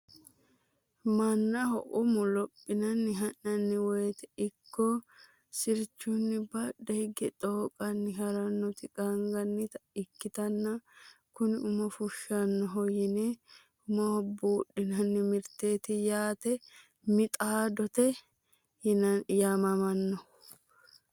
mannaho umu lophinanni ha'nanni woteno ikko sirchunni badhe hige xooqanni harannoti qaangannita ikkitanna, kuni umo fushshannoho yine umoho buudhinanni mirteeti yaate minooxide yaamamannho.